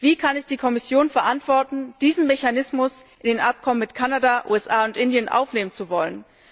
Wie kann es die Kommission verantworten, diesen Mechanismus in die Abkommen mit Kanada, USA und Indien aufnehmen zu wollen.